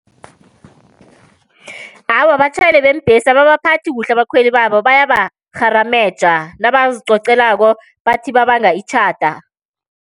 Awa, abatjhayeli beembhesi ababaphathi kuhle abakhweli babo bayabarharameja nabazicocelako bathi babanga itjhada.